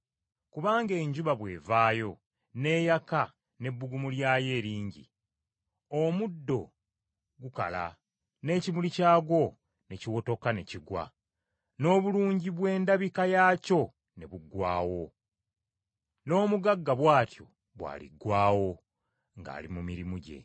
Kubanga enjuba bw’evaayo n’eyaka n’ebbugumu lyayo eringi, omuddo gukala n’ekimuli kyagwo ne kiwotoka ne kigwa, n’obulungi bw’endabika yaakyo ne buggwaawo; n’omugagga bw’atyo bw’aliggwaawo, ng’ali mu mirimu gye.